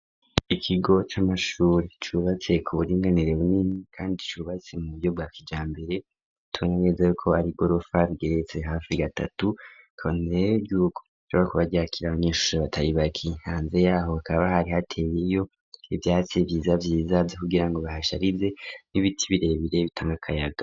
Ikigo c'amashuri cubatse ku buringanire bunini kandi cubatse mu biyobwakija mbere turageze ko ari igorofa rigeretse hafrik tatu koney ry'uko cuba ku bajyakire abanyeshure bataribayka intanze yaho kaba hari hateyeyo ibyatsi byiza byizabye kugira ngo bahasharize n'ibiti birebere bitanga akayaga.